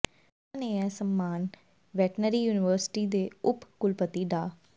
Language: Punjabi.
ਉਨ੍ਹਾਂ ਨੂੰ ਇਹ ਸਨਮਾਨ ਵੈਟਰਨਰੀ ਯੂਨੀਵਰਸਿਚੀ ਦੇ ਉਪ ਕੁਲਪਤੀ ਡਾ